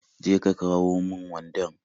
Je ka ka kawon mun wandan